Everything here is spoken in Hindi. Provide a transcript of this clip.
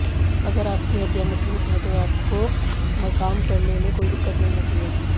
अगर आपकी हड्डियां मजबूत है तो आपकतो काम करने में कोई दिक्कत नहीं होती है